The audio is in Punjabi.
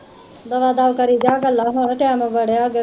ਦਮਾ ਦਮ ਕਰਿ ਜਾ ਗੱਲਾਂ ਹੁਣ ਟੈਮ ਬੜੇ ਹੋਗੇ